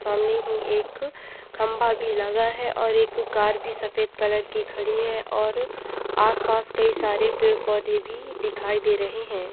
सामने ही एक खम्भा भी लगा है और कार भी सफेद कलर की खड़ी है और आस-पास कई सारे पेड़-पौधे भी दिखाई दे रहे हैं।